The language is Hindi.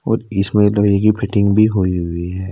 और इसमें लग रही है की फिटिंग भी होई हुई है।